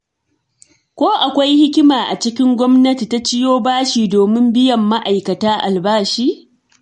Ko akwai hikima a cikin Gwamnati ta ciyo bashi domin biyan ma'aikatanta albashi?